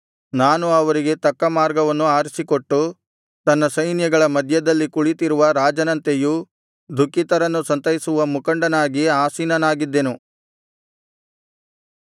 ನಾನು ಅವರಿಗೆ ತಕ್ಕ ಮಾರ್ಗವನ್ನು ಆರಿಸಿಕೊಟ್ಟು ತನ್ನ ಸೈನ್ಯಗಳ ಮಧ್ಯದಲ್ಲಿ ಕುಳಿತಿರುವ ರಾಜನಂತೆಯೂ ದುಃಖಿತರನ್ನು ಸಂತೈಸುವ ಮುಖಂಡನಾಗಿ ಆಸೀನನಾಗಿದ್ದೆನು